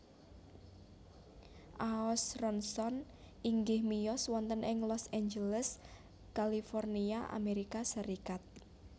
Aaosronson inggih miyos wonten ing Los Angeles California Amérika Sarékat